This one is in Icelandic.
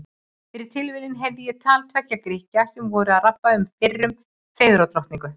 Fyrir tilviljun heyrði ég á tal tveggja Grikkja sem voru að rabba um fyrrum fegurðardrottningu.